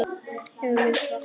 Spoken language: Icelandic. Hefur verið svart.